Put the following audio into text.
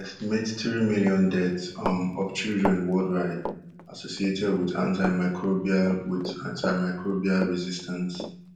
estimate three million deaths um of children worldwide associated wit antiamicrobial wit antiamicrobial resistance